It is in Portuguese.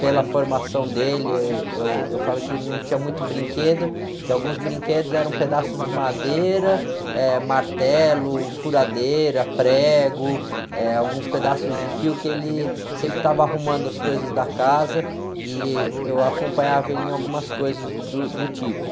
Pela formação dele, eh, eu, eu falo que não tinha muito brinquedo, que alguns brinquedos eram pedaços de madeira, eh, martelo, furadeira, prego, eh, alguns pedaços de fio que ele sempre estava arrumando as coisas da casa e eu acompanhava ele em algumas coisas do, do tipo.